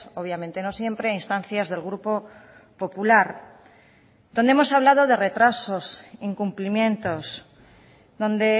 obviamente no siempre a instancias del grupo popular donde hemos hablado de retrasos incumplimientos donde